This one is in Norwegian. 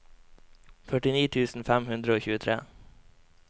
førtini tusen fem hundre og tjuetre